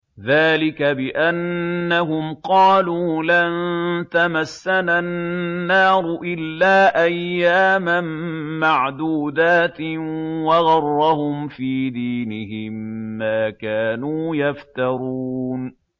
ذَٰلِكَ بِأَنَّهُمْ قَالُوا لَن تَمَسَّنَا النَّارُ إِلَّا أَيَّامًا مَّعْدُودَاتٍ ۖ وَغَرَّهُمْ فِي دِينِهِم مَّا كَانُوا يَفْتَرُونَ